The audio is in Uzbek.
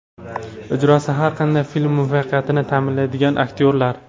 Ijrosi har qanday film muvaffaqiyatini ta’minlaydigan aktyorlar.